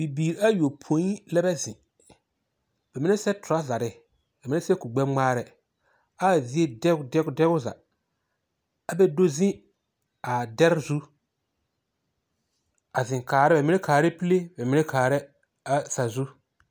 Bibiir ayopõi lɛbɛ zeŋ, bɛ minɛ sɛtorazare, bɛ mine sɛ kurgbɛŋmaarɛ ɛ a zie dɛg dɛg dɛge o zaa. ɛ bɛ do ze a dɛre zũ a zeŋ kaarɛ bɛmine kaarɛ pule bɛ mine kaarɛ a sazũ.